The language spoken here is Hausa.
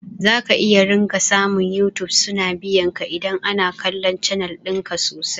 Zaka iya ringa samu yutub suna biyanka idan ana kallon canal ɗinka sosai